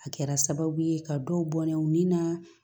A kɛra sababu ye ka dɔw bɔnna u ni naa